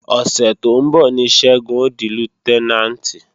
Ọ̀sẹ̀ tó ń bọ̀ ní Ṣẹ́gun ó di Lútẹ́nàǹtì